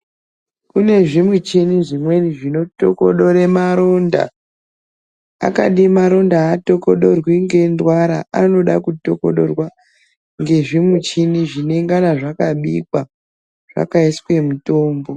Kune zvimuchini zvimweni zvinotokodore maronda. Akadi maronda aatokodorwi ngendwara, anoda kutokodorwa ngezvimuchini zvinengana zvakabikwa, zvakaiswe mitombo.